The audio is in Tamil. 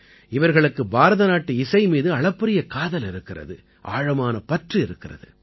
இவர்களுக்கு பாரதநாட்டு இசை மீது அளப்பரிய காதல் இருக்கிறது ஆழமான பற்று இருக்கிறது